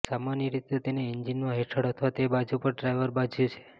સામાન્ય રીતે તેને એન્જિનમાં હેઠળ અથવા તે બાજુ પર ડ્રાઇવર બાજુ છે